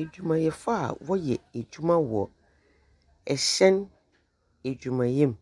Edwumayɛfo a wɔyɛ edwuma wɔ hyɛn edwumayɛ mu,